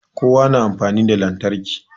Kowa na amfani da lantarki